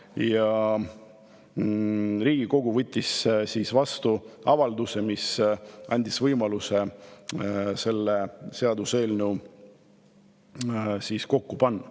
Ja Riigikogu võttis vastu avalduse, mis andis võimaluse selline seaduseelnõu kokku panna.